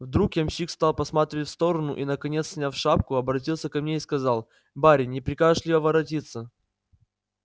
вдруг ямщик стал посматривать в сторону и наконец сняв шапку оборотился ко мне и сказал барин не прикажешь ли воротиться